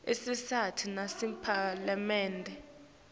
isisita nasemaphalamende